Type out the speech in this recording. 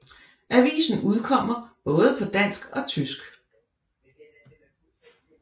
Avisen udkommer både på dansk og tysk